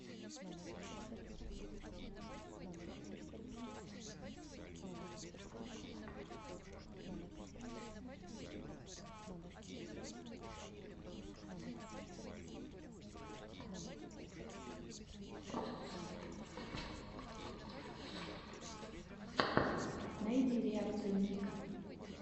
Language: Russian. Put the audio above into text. найди реакцию ника